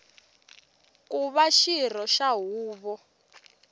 ku va xirho xa huvo